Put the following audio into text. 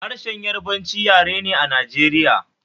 Harshen Yarabanci yare ne Najeriya